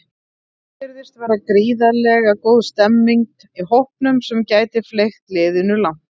Svo virðist vera gríðarlega góð stemmning í hópnum sem gæti fleygt liðinu langt.